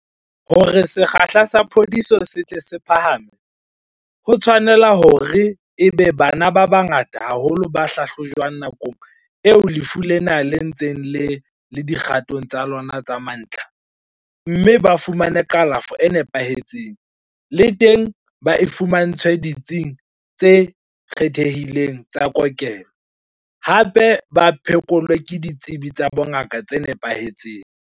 Hore sekgahla sa phodiso se tle se phahame, ho tshwanela hore e be bana ba bangata haholo ba hlahlojwang nakong eo lefu lena le sa ntseng le le dikgatong tsa lona tsa mantlha, mme ba fumane kalafo e nepahetseng, le teng ba e fumantshwe ditsing tse kgethehileng tsa kokelo, hape ba phekolwe ke ditsebi tsa bongaka tse nepahetseng.